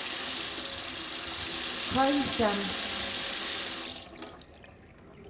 хайхян